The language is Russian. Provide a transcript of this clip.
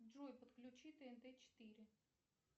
джой подключи тнт четыре